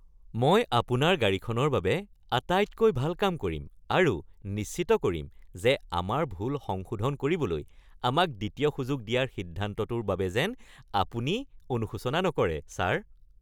মই আপোনাৰ গাড়ীখনৰ বাবে আটাইতকৈ ভাল কাম কৰিম আৰু নিশ্চিত কৰিম যে আমাৰ ভুল সংশোধন কৰিবলৈ আমাক দ্বিতীয় সুযোগ দিয়াৰ সিদ্ধান্তটোৰ বাবে যেন আপুনি অনুশোচনা নকৰে, ছাৰ! (মেকানিক)